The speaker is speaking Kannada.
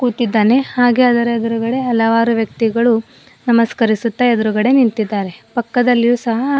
ಹಾಕಿದ್ದಾನೆ ಹಾಗೆ ಅದರ ಎದ್ರುಗಡೆ ಹಲವಾರು ವ್ಯಕ್ತಿಗಳು ನಮಸ್ಕರಿಸುತ್ತಾ ಎದ್ರುಗಡೆ ನಿಂತಿದ್ದಾರೆ ಪಕ್ಕದಲ್ಲಿಯು ಸಹ--